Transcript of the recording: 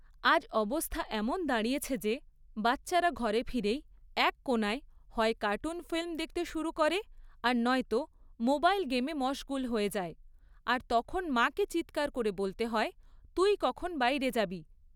আজ অবস্থা এমন দাঁড়িয়েছে যে বাচ্চারা ঘরে ফিরেই এক কোণে হয় কার্টুন ফিল্ম দেখতে শুরু করে আর নয়তো মোবাইল গেমে মশগুল হয়ে যায় আর তখন মাকে চিৎকার করে বলতে হয়, তুই কখন বাইরে যাবি!